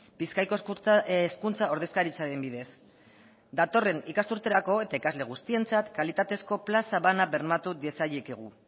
bizkaiko hezkuntza ordezkaritzaren bidez datorren ikasturterako eta ikasle guztientzat kalitatezko plaza bana bermatu diezaiekegu